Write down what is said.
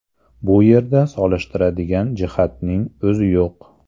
Bu yerda solishtiradigan jihatning o‘zi yo‘q”.